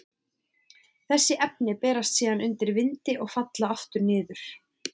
Þessi efni berast síðan undan vindi og falla aftur niður.